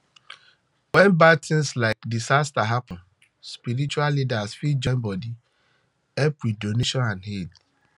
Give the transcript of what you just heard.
when bad thing like disaster happen spiritual leader fit join bodi help with donation and aid